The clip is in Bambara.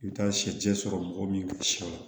I bɛ taa sɛjɛ sɔrɔ mɔgɔ min sɛ la